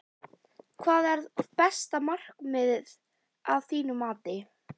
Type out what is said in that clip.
Hvað er besta markið að þínu mati?